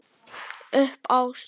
Upp á stól